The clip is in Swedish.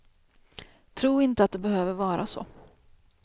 Tro inte att det behöver vara så.